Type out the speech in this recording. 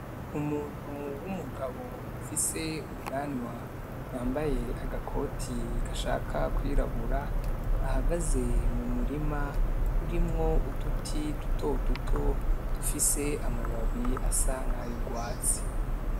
Umuntu w'umugabo afise ubwanwa yambaye agakoti gashaka kw'irabura ahagaze mumurima urimwo uduti dutoduto dufise ama babi asa nk'ayurwatsi .